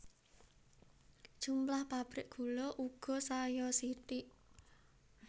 Jumlah pabrik gula uga saya sithik